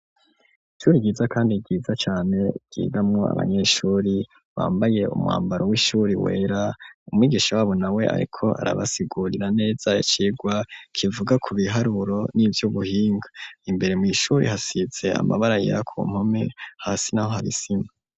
Ishuri ryiza kandi ryiza cane ryigamwo abanyeshuri bambaye umwambaro w'ishuri wera, umwigisha wabo na we ariko arabasigurira neza icigwa kivuga ku biharuro n'ivyubuhinga, imbere mw'ishuri hasize amabara yera ku mpome, hasi n'aho har'isima.